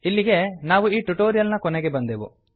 ಇಲ್ಲಿಗೆ ನಾವು ಈ ಟ್ಯುಟೋರಿಯಲ್ ನ ಕೊನೆಗೆ ಬಂದೆವು